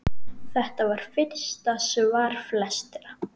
Þetta var fyrsta svar flestra?